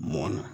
Mɔnna